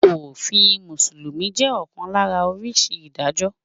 Òfin Mùsùlùmí jẹ́ ọ̀kan lára oríṣi Ìdájọ́.